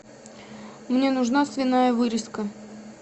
мне нужна свиная вырезка